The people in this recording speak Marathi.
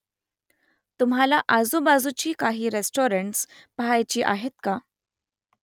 तुम्हाला आजूबाजूची काही रेस्टॉरंट्स पहायची आहेत का ?